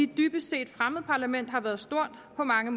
dybest set fremmed parlament har været stort på mange